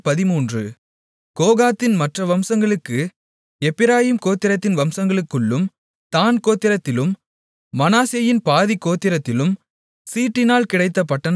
கோகாத்தின் மற்ற வம்சங்களுக்கு எப்பிராயீம் கோத்திரத்தின் வம்சங்களுக்குள்ளும் தாண் கோத்திரத்திலும் மனாசேயின் பாதிக் கோத்திரத்திலும் சீட்டினால் கிடைத்த பட்டணங்கள் பத்து